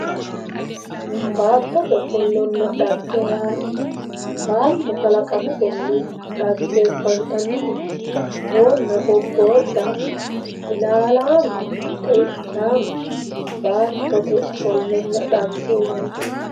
baattote ofollonna xagge yaa baato kalaqamisenni xaggeefantannite boona, bobodda, ilalaame, xe"ichaame baatote ofollanna xagge yinanni.